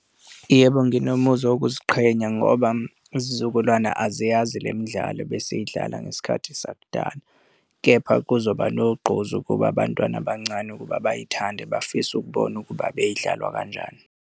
Yebo, nginomuzwa wokuziqhenya ngoba izizukulwane aziyazi le midlalo ebesiyidlala ngesikhathi sakudala, kepha kuzoba nogqozu ukuba abantwana abancane ukuba bayithande, bafise ukubona ukuba beyidlalwa kanjani.